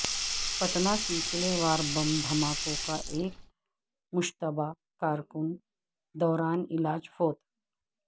پٹنہ سلسلہ وار بم دھماکوں کا ایک مشتبہ کارکن دوران علاج فوت